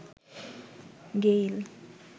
Gayle